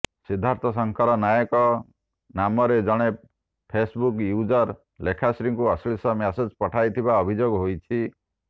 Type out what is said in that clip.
ସିଦ୍ଧାର୍ଥ ଶଙ୍କର ନାୟକ ନାମରେ ଜଣେ Facebook user ଲେଖାଶ୍ରୀଙ୍କୁ ଅଶ୍ଳୀଳ ମେସେଜ୍ ପଠାଇଥିବା ଅଭିଯୋଗ ହୋଇଛି